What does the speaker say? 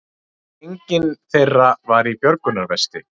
Enginn þeirra var í björgunarvesti